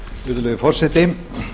virðulegi forseti